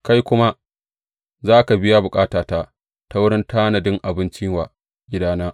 Kai kuma za ka biya bukatata ta wurin tanadin abinci wa gidana.